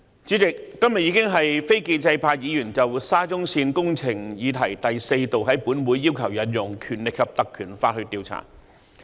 主席，今天已經是非建制派議員就沙中線工程的議題第四度在立法會要求引用《條例》調查。